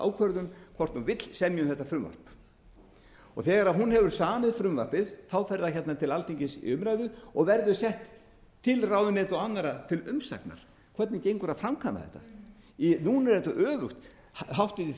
ákvörðun hvort hún vill semja um þetta frumvarp þegar hún hefur samið frumvarpið fer það til alþingis í umræðu og verður sent til ráðuneyta og annarra til umsagnar hvernig gengur að framkvæma þetta núna er þetta öfugt háttvirtir